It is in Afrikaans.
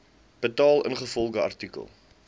betaal ingevolge artikel